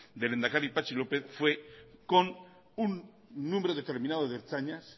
del lehendakari patxi lópez fue con un número determinado de ertzainas